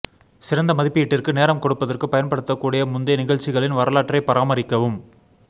சிறந்த மதிப்பீட்டிற்கு நேரம் கொடுப்பதற்கு பயன்படுத்தக்கூடிய முந்தைய நிகழ்ச்சிகளின் வரலாற்றைப் பராமரிக்கவும்